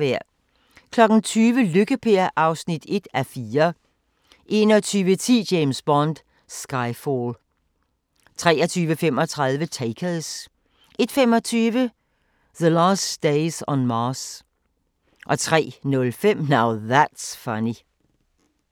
20:00: Lykke-Per (1:4) 21:10: James Bond: Skyfall 23:35: Takers 01:25: The Last Days on Mars 03:05: Now That's Funny